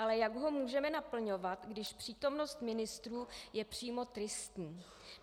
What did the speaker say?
Ale jak ho můžeme naplňovat, když přítomnost ministrů je přímo tristní?